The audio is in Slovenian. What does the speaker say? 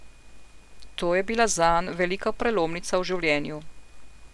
To je bila zanj velika prelomnica v življenju.